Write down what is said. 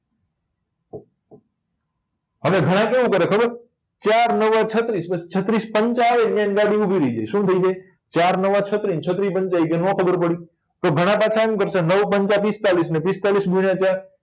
હવે ગણા કેવું કરે ખબર હે ચાર નવા છત્રીસ ને છત્રીસ પંચા આવે એટલે શું થઇ જાય ચાર નવા છત્રી ને છત્રી પંચા એ કે નો ખબર પડી તો ગણા પાછા એમ કરશે નવ પંચા પિસ્તાળીસ ને પિસ્તાલીસ ગુણ્યા ચાર